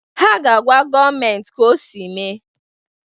Ha ga-agwa gọọmentị ka ọsị mee.